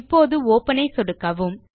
இப்போது ஒப்பன் ஐ சொடுக்கவும்